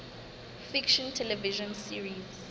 fiction television series